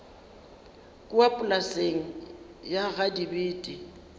kua polaseng ya ga dibete